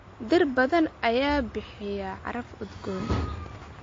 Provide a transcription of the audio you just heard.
Dhir badan ayaa bixiya caraf udgoon.